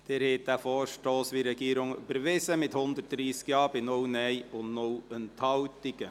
Sie haben diesen Vorstoss, wie von der Regierung beantragt, überwiesen, mit 130 Ja- gegen 0 Nein-Stimmen bei 0 Enthaltungen.